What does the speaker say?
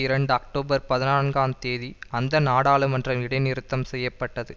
இரண்டு அக்டோபர் பதினான்காந்தேதி அந்த நாடாளுமன்றம் இடைநிறுத்தம் செய்ய பட்டது